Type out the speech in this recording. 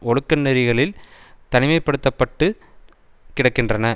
ஒழுக்க நெறிகளில் தனிமை படுத்த பட்டு கிடக்கின்றன